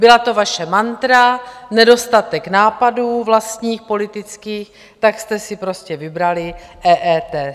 Byla to vaše mantra, nedostatek nápadů vlastních politických, tak jste si prostě vybrali EET.